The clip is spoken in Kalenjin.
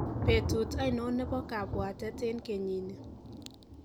betut ainon nebo kabuaten en kenyini